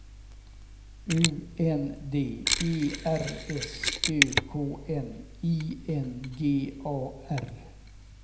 U N D E R S Ö K N I N G A R